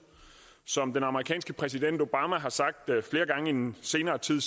som den amerikanske præsident obama har sagt det flere gange i den senere tid